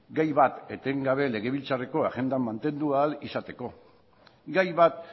gai bat etengabe legebiltzarreko agenda mantendu ahal izateko gai bat